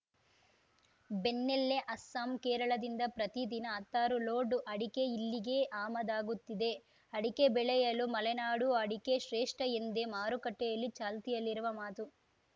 ಬೆನ್ನಲ್ಲೇ ಅಸ್ಸಾಂ ಕೇರಳದಿಂದ ಪ್ರತಿದಿನ ಹತ್ತಾರು ಲೋಡ್‌ ಅಡಿಕೆ ಇಲ್ಲಿಗೆ ಆಮದಾಗುತ್ತಿದೆ ಅಡಿಕೆ ಬೆಳೆಯಲ್ಲಿ ಮಲೆನಾಡು ಅಡಿಕೆ ಶ್ರೇಷ್ಠ ಎಂದೇ ಮಾರುಕಟ್ಟೆಯಲ್ಲಿ ಚಾಲ್ತಿಯಲ್ಲಿರುವ ಮಾತು